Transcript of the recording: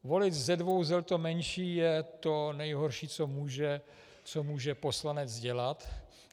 Volit ze dvou zel to menší je to nejhorší, co může poslanec dělat.